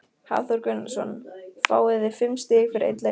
Hafþór Gunnarsson: Fáið þið fimm stig fyrir einn leik?